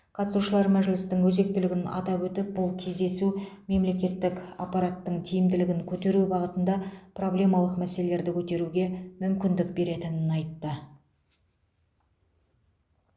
қатысушылар мәжілістің өзектілігін атап өтіп бұл кездесу мемлекеттік аппараттың тиімділігін көтеру бағытында проблемалық мәселерді көтеруге мүмкіндік беретінін айтты